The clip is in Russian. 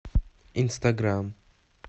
инстаграм